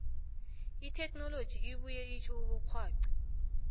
itechnology ibuye itjho ubukgwaxi